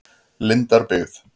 Lindarbyggð